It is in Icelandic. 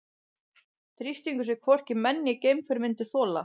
Þrýstingur sem hvorki menn né geimför myndu þola.